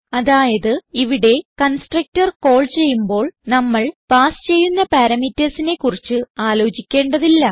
അതായത് ഇവിടെ constructor call ചെയ്യുമ്പോൾ നമ്മൾ പാസ് ചെയ്യുന്ന parametersനെ കുറിച്ച് ആലോചിക്കേണ്ടതില്ല